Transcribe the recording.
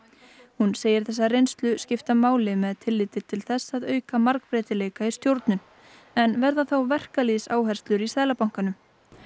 hún segir þessa reynslu skipta máli með tilliti til þess að auka margbreytileika í stjórnun en verða þá í Seðlabankanum